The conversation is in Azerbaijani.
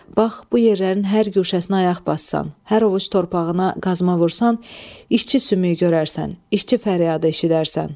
Bax bu yerlərin hər guşəsinə ayaq bassan, hər ovuc torpağına qazma vursan, işçi sümüyü görərsən, işçi fəryadı eşidərsən.